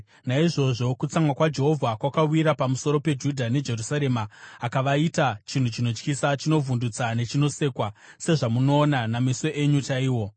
Naizvozvo, kutsamwa kwaJehovha kwakawira pamusoro peJudha neJerusarema, akavaita chinhu chinotyisa, chinovhundutsa nechinosekwa, sezvamunoona nameso enyu chaiwo.